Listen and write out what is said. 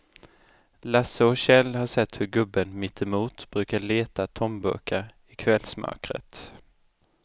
Lasse och Kjell har sett hur gubben mittemot brukar leta tomburkar i kvällsmörkret.